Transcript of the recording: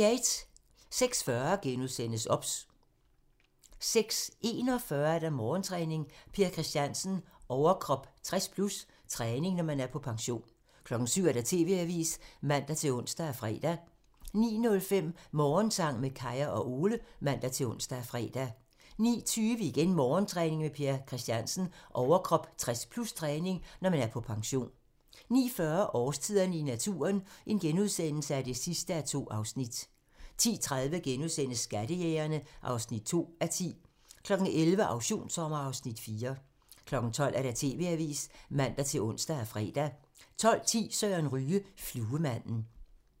06:40: OBS * 06:41: Morgentræning: Per Christiansen - overkrop 60+/træning, når man er på pension 07:00: TV-avisen (man-ons og fre) 09:05: Morgensang med Kaya og Ole (man-ons og fre) 09:20: Morgentræning: Per Christiansen - overkrop 60+/træning, når man er på pension 09:40: Årstiderne i naturen (2:2)* 10:30: Skattejægerne (2:10)* 11:00: Auktionssommer (Afs. 4) 12:00: TV-avisen (man-ons og fre) 12:10: Søren Ryge: Fluemanden